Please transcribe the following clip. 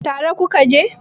tare ku ka je?